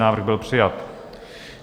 Návrh byl přijat.